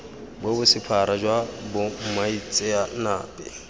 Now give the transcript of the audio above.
bo bo sephara jwa bomaitseanape